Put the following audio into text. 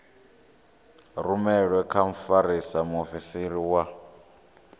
rumelwe kha mfarisa muofisiri wa